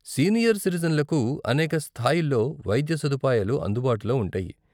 Senior సిటిజెన్లకు అనేక స్థాయిల్లో వైద్య సదుపాయాలు అందుబాటులో ఉంటాయి.